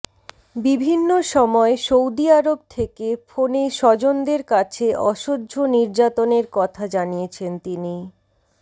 বিভিন্ন সময় সৌদি আরব থেকে ফোনে স্বজনদের কাছে অসহ্য নির্যাতনের কথা জানিয়েছেন তিনি